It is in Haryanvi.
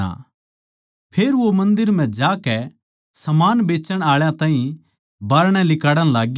फेर वो मन्दर म्ह जाकै समान बेचण आळा ताहीं बाहरणै लिकाड़ण लाग्या